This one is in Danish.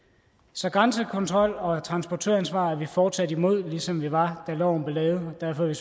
så grænsekontrol og transportøransvar er vi fortsat imod ligesom vi var da loven blev lavet og derfor er